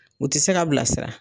U ti se ka bilasira.